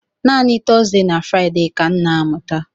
Naanị Tọzdee na Fraịde ka m na-amụta.